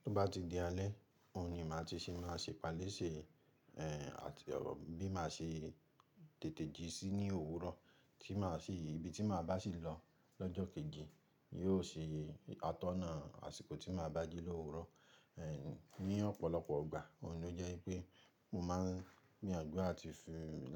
Tí o bá ti di alẹ́, ohun ni màá ti sì máa ṣe ìpalẹ́ṣẹ, ẹ́ àti bí màá ṣe tètè jí sí ní òwúrọ̀ tí màá sì ibi tí màá bá sì lọ lọ́jọ́ kejì, yóò ṣe atọ́nà àsìkò tí màá bá jí l'òwúrọ̀. Ẹ̀h, ní ọ̀pọ̀lọpọ̀ ìgbà, ohun ló jẹ́ wípé mo máa ń gbìyànjú